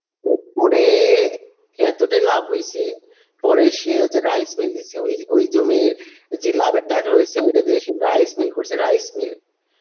ও করে এতটাই লাভ হয়েছে পরে সে হচ্ছে rice mill দিচ্ছে ও ওই জমির যে লাভের টাকা হয়েছে সেটা দিয়েছে rice mill করছে rice mill